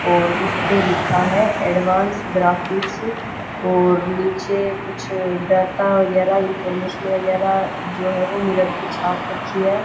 और उसपे लिखा है एडवांस ग्राफिक्स और नीचे कुछ डाटा वगैरा इनफॉरमेशन वगैरा जो है वो मिरर पे छाप रखी है।